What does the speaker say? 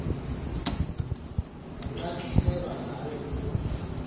nenxaxheba ngayo kusi